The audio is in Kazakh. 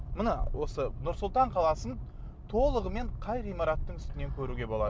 мына осы нұр сұлтан қаласын толығымен қай ғимараттың үстінен көруге болады